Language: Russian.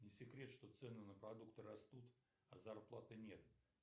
не секрет что цены на продукты растут а зарплаты нет